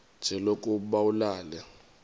nje lokuba ulale